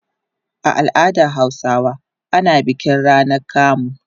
A al'adar Hausawa ana bikin rana kamu.